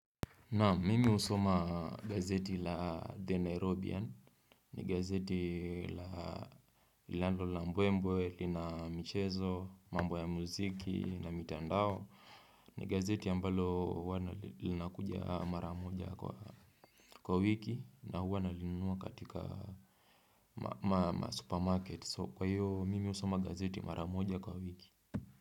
Naam mimi husoma gazeti la the nairobian ni gazeti la linalo na mbwe mbwe lina michezo, mambo ya muziki na mitandao ni gazeti ambalo wana linakuja mara moja kwa wiki na huwa na linunua katika ma supermarket so kwa hiyo mimi husoma gazeti mara moja kwa wiki.